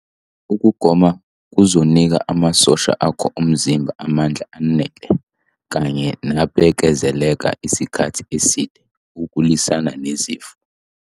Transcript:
Ukugoma kuzonika amasosha akho omzimba amandla anele kanye nabekezela isikhathi eside okulwisana nezifo.